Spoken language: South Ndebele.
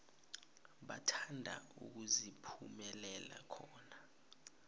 bathanda ukuziphumulela khona